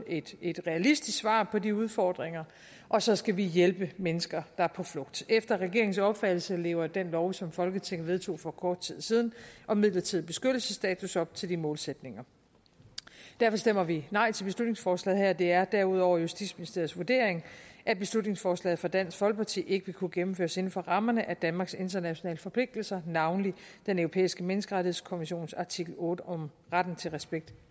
et et realistisk svar på de udfordringer og så skal vi hjælpe mennesker er på flugt efter regeringens opfattelse lever den lov som folketinget vedtog for kort tid siden om midlertidig beskyttelsesstatus op til de målsætninger derfor stemmer vi nej til beslutningsforslaget her det er derudover justitsministeriets vurdering at beslutningsforslaget fra dansk folkeparti ikke vil kunne gennemføres inden for rammerne af danmarks internationale forpligtelser navnlig den europæiske menneskerettighedskonventions artikel otte om retten til respekt